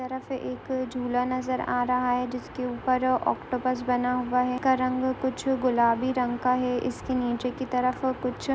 की तरफ एक झूला नजर आ रहा है जिसके ऊपर ोक्तिपुस बना हुआ है इसका रंग कुछ गुलाबी रंग का है इसके निचे की तरफ--